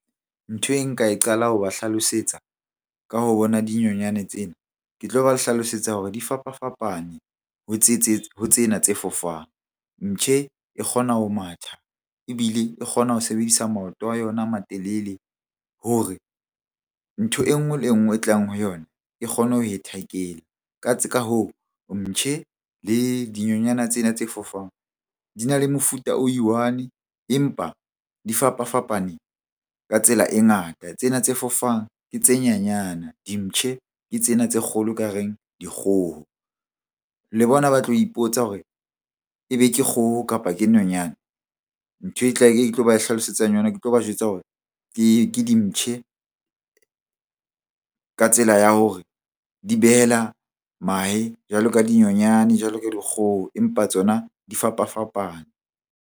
Ntho e nka e qala ho ba hlalosetsa ka ho bona dinyonyane tsena. Ke tlo ba le hlalosetsa hore di fapafapane ho ho tsena tse fofang. Mptjhe e kgona ho matha ebile e kgona ho sebedisa maoto a yona a matelele hore ntho enngwe le enngwe e tlang ho yona e kgone ho e tackle-a. Ka hoo, mptjhe le dinonyana tsena tse fofang di na le mofuta o i-one empa di fapafapaneng ka tsela e ngata. Tsena tse fofang ke tse nyanyane, dimptjhe ke tsena tse kgolo ekareng dikgoho. Le bona ba tlo ipotsa hore ebe ke kgoho, kapa ke nonyane. Ntho tlo ba hlalosetsang yona ke tlo ba jwetsa hore ke dimptjhe ka tsela ya hore di behela mahe jwalo ka dinyonyane, jwalo ka dikgoho empa tsona di fapafapane.